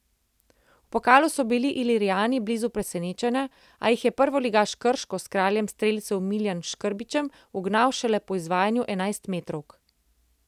V pokalu so bili Ilirijani blizu presenečenja, a jih je prvoligaš Krško s kraljem strelcev Miljanom Škrbićem ugnal šele po izvajanju enajstmetrovk.